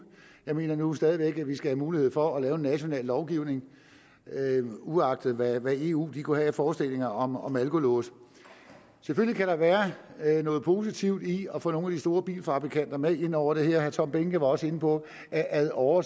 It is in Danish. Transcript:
jeg mener nu stadig væk at vi skal have mulighed for at lave en national lovgivning uagtet hvad eu kunne have af forestillinger om om alkolåse selvfølgelig kan der være noget positivt i at få nogle store bilfabrikanter med ind over det her herre tom behnke var også inde på at ad åre